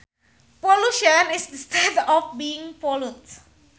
Pollution is the state of being polluted